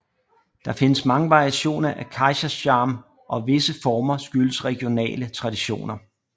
Der findes mange varianter af kaiserschmarrn og visse former skyldes regionale traditioner